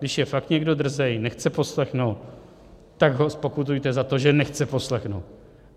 Když je fakt někdo drzý, nechce poslechnout, tak ho zpokutujte za to, že nechce poslechnout.